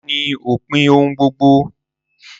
Ikú ni opin ohun gbogbo